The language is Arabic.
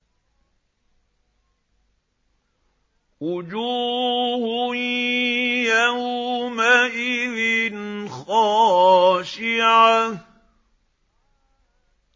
وُجُوهٌ يَوْمَئِذٍ خَاشِعَةٌ